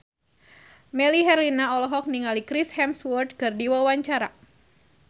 Melly Herlina olohok ningali Chris Hemsworth keur diwawancara